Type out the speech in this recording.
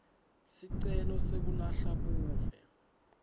sicelo sekulahla buve